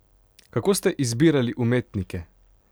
Kako ste izbirali umetnike?